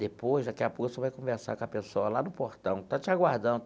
Depois, daqui a pouco, você vai conversar com a pessoa lá no portão, que está te aguardando.